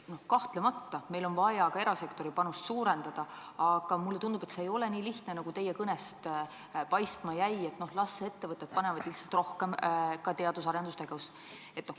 Kahtlemata on meil vaja ka erasektori panust suurendada, aga mulle tundub, et see ei ole nii lihtne, nagu teie kõnest paistma jäi, et noh, las ettevõtted panevad lihtsalt rohkem ka teadus- ja arendustegevusse.